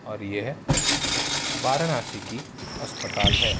और यह एक वाराणसी की अस्पताल है।